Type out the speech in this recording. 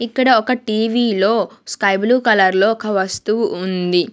ఇక్కడ ఒక TV లో స్కై బ్లూ కలర్ లో ఒక వస్తువు ఉంది.